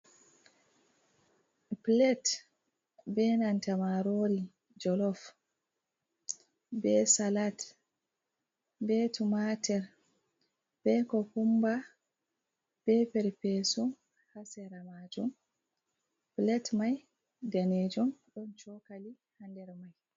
Pilet be nanta marori jolof, be salat, be tumatir, be kokumba, be perpesu ha sera majun. Pilet mai daneejum, ɗon chokali ha nder mai.